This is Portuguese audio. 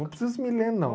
Não precisa me ler, não.